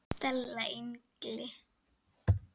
STELA ENGLI!